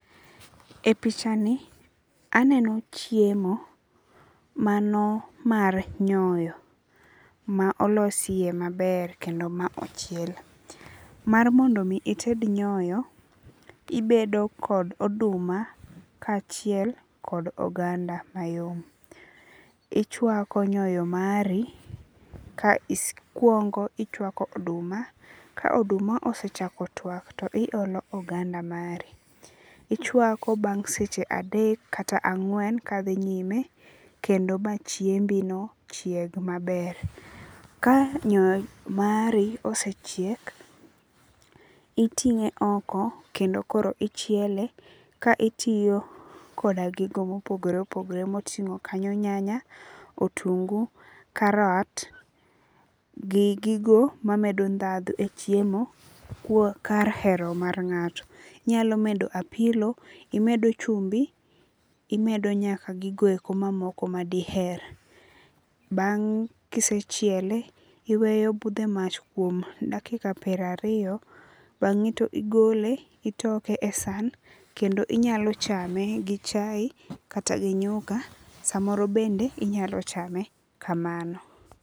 E pichani aneno chiemo mano mar nyoyo ma olos yie maber kendo ma ochiel. Mar mondo mi ited nyoyo ibedo kod oduma kachiel kod oganda mayom. Ichwako nyoyo mari okwongo ichwako oduma. Ka oduma osechako twak to iolo oganda mari. Ichwako bang' seche adek kata ang'wen ka dhi nyime kendo ma chiembi no chieg maber. Ka nyoyo mari osechiek, iting'e oko kendo koro ichiele ka itiyo koda gigo mopogore opogore moting'o kanyo nyanya, otungu, karat, gi gigo mamedo dhadho e chiemo kar hero mar ng'ato. Inyalo bedo apilo, imedo chumbi. Imedo nyaka gigo eko mamoko madiher. Bang' kisechiele, iweyo obudho e mach kuom dakika piero ariyo. Bang'e to igole itoke e san kendo inyalo chame gi chae kata gi nyuka samoro bende inyalo chame kamano.